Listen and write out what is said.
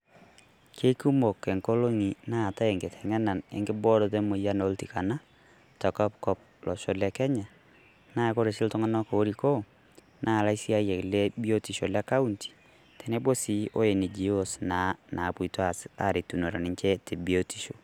Kekumook enkolong'i naatai nkiteng'ena enkibooroto emoyian oltikana te kopkop tolosho le Kenya, naa kore sii ltung'anak loirikoo naa laishaayak le biotisho le kaunti teneboo sii o NGO's naa naapotoo aas airetunore ninchee te biotisho.